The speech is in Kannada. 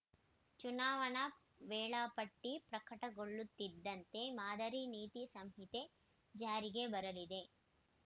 ಚುನಾವಣಾ ವೇಳಾಪಟ್ಟಿ ಪ್ರಕಟಗೊಳ್ಳುತ್ತಿದ್ದಂತೆ ಮಾದರಿ ನೀತಿ ಸಂಹಿತೆ ಜಾರಿಗೆ ಬರಲಿದೆ